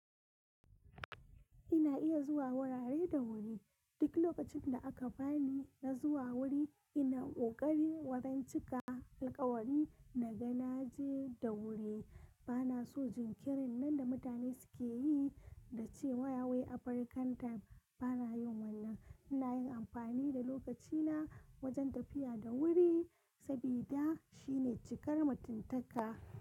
Ina iya zuwa wurare da wuri. Duk lokacin da aka bani na zuwa wuri, ina ƙoƙari wurin cika alƙawari na ga na je da wuri. Bana so jinkirin nan da mutane suke yi da cewa wai African time bana yin wannan. Ina yin amfani da lokacina wajen tafiya da wuri sabida shine cikar mutuntaka.